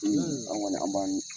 anw kɔni an b'an